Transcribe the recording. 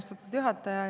Austatud juhataja!